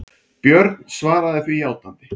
Björn svaraði því játandi.